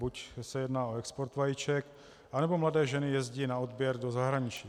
Buď se jedná o export vajíček, anebo mladé ženy jezdí na odběr do zahraničí.